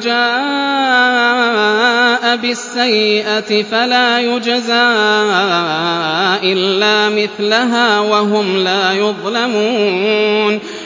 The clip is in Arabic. جَاءَ بِالسَّيِّئَةِ فَلَا يُجْزَىٰ إِلَّا مِثْلَهَا وَهُمْ لَا يُظْلَمُونَ